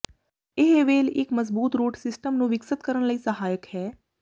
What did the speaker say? ਇਹ ਵੇਲ ਇੱਕ ਮਜ਼ਬੂਤ ਰੂਟ ਸਿਸਟਮ ਨੂੰ ਵਿਕਸਤ ਕਰਨ ਲਈ ਸਹਾਇਕ ਹੈ